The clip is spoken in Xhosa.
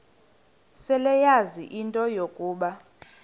seleyazi into yokuba